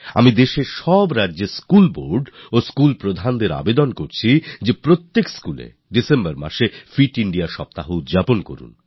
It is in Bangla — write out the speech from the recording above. আমি দেশের সব রাজ্যের স্কুল বোর্ড এবং স্কুল প্রশাসনকে অনুরোধ জানাই যে প্রত্যেক schoolএ ডিসেম্বর মাসে ফিট Indiaসপ্তাহ পালন করুন